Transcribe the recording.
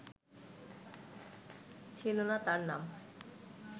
ছিল না তার নাম